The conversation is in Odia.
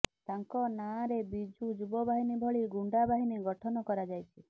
ତାଙ୍କ ନାଁରେ ବିଜୁ ଯୁବ ବାହିନୀ ଭଳି ଗୁଣ୍ଡାବାହିନୀ ଗଠନ କରାଯାଇଛି